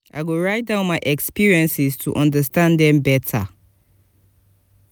i go write down my experiences to understand them better.